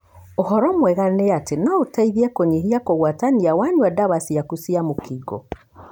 Ũhoro mwega nĩ atĩ no ũteithie kũnyihia kũgwatania wanyua dawa ciaku cia mũkingo.